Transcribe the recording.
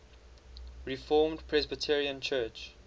reformed presbyterian church